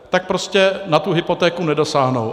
Tak prostě na tu hypotéku nedosáhnou.